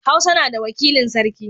Hausa na da wakilin sarki.